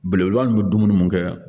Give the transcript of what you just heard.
Belebeleba ninnu bɛ dumuni mun kɛ